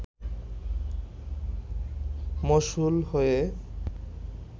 মশহুল হয়ে